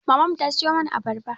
Maman mu ta siyo mana abarba